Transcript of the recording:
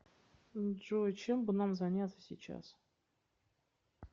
джой чем бы нам заняться сейчас